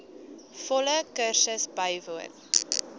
volle kursus bywoon